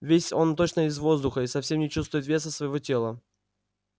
весь он точно из воздуха и совсем не чувствует веса своего тела